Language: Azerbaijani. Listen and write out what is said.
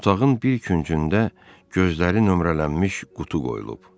Otağın bir küncündə gözləri nömrələnmiş qutu qoyulub.